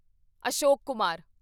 Ashok Kumar